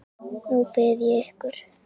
Nú bið ég ykkur